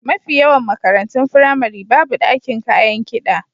Mafi yawan makarantun firamari babu ɗakin kayan kiɗa.